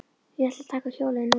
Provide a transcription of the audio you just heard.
Ég ætla að taka hjólið núna.